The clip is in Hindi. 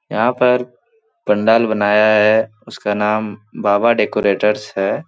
यहाँ पर पंडाल बनाया है उसका नाम बाबा डेकोरेटर्स है ।